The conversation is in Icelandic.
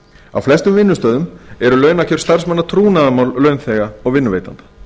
á flestum vinnustöðum eru launakjör starfsmanna trúnaðarmál launþega og vinnuveitanda